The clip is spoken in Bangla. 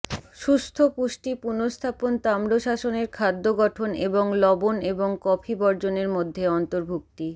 সুস্থ পুষ্টি পুনঃস্থাপন তাম্রশাসনের খাদ্য গঠন এবং লবণ এবং কফি বর্জনের মধ্যে অন্তর্ভুক্তি